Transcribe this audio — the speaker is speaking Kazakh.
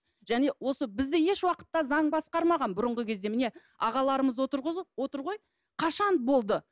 және осы бізде ешуақытта заң басқармаған бұрынғы кезде міне ағаларымыз отыр ғой қашан болды